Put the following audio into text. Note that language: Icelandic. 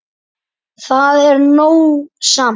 Það er nóg samt.